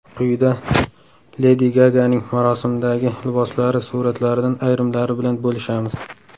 Quyida Ledi Gaganing marosimdagi liboslari suratlaridan ayrimlari bilan bo‘lishamiz.